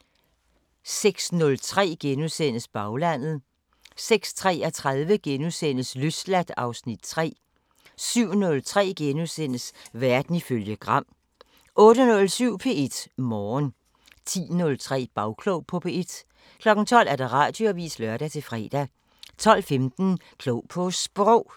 * 06:03: Baglandet * 06:33: Løsladt (Afs. 3)* 07:03: Verden ifølge Gram * 08:07: P1 Morgen 10:03: Bagklog på P1 12:00: Radioavisen (lør-fre) 12:15: Klog på Sprog